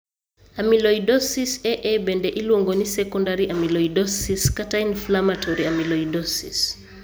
Amyloidosis AA bende iluongo ni Secondary amyloidosis kata Inflammatory amyloidosis.